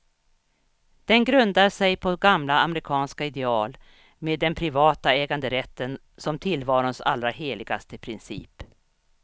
Den grundar sig på gamla amerikanska ideal, med den privata äganderätten som tillvarons allra heligaste princip.